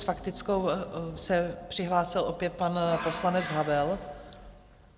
S faktickou se přihlásil opět pan poslanec Havel.